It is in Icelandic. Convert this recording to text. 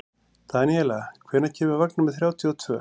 Daníela, hvenær kemur vagn númer þrjátíu og tvö?